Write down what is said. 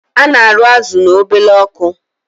Ana arụ azụ na obele ọkụ